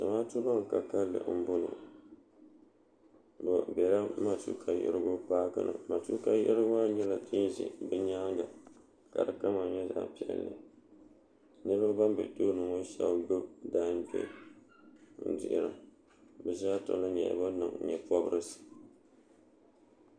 zamaatu ban ka kanli n boŋo bi biɛla matuuka yiɣirigu paaki ni matuuka yiɣirigu maa nyɛla din ʒɛ bi nyaanga ka di kama nyɛ zaɣ piɛlli niraba ban bɛ tooni ŋo shab gbubi daangbiɣi n dihira bi zaa sa nyɛla ban niŋ nyɛ pobirisi